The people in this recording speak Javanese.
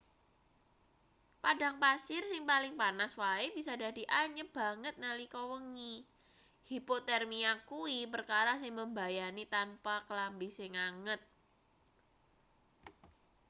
padang pasir sing paling panas wae bisa dadi anyep banget nalika wengi hipotermia kuwi perkara sing mbebayani tanpa klambi sing anget